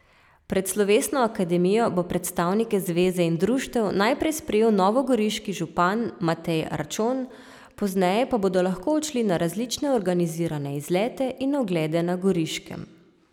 Pred slovesno akademijo bo predstavnike zveze in društev najprej sprejel novogoriški župan Matej Arčon, pozneje pa bodo lahko odšli na različne organizirane izlete in oglede na Goriškem.